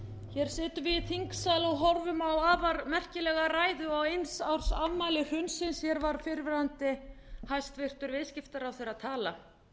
hér sitjum við í þingsal og horfum á afar merkilega ræðu á eins árs afmæli hrunsins hér var fyrrverandi hæstvirtur viðskiptaráðherra að tala